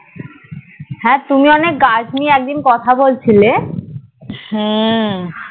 তুমি একদিন গাছ নিয়ে একদিন কথা বলছিলে